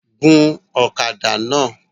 Gun ọ̀kadà náà!